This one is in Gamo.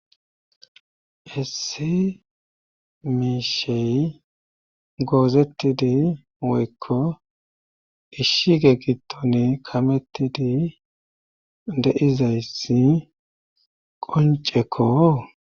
esi miishey goozettidi woykko ishshige gitton kamettidi deizayssi qoncekko